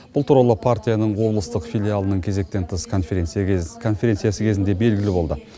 бұл туралы партияның облыстық филиалының кезектен тыс конференциясы кезінде белгілі болды